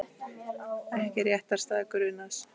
Ekki réttarstaða grunaðs